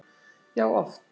Já oft.